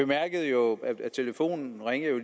her er jo